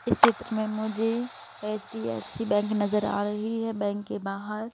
इस क्षेत्र में मुझे एच_डी_एफ_सी बैंक नजर आ रही है बैंक के बाहर--